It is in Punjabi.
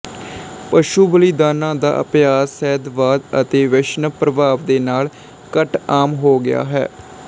ਪਸ਼ੂ ਬਲੀਦਾਨਾਂ ਦਾ ਅਭਿਆਸ ਸ਼ੈਵਵਾਦ ਅਤੇ ਵੈਸ਼ਨਵ ਪ੍ਰਭਾਵ ਦੇ ਨਾਲ ਘੱਟ ਆਮ ਹੋ ਗਿਆ ਹੈ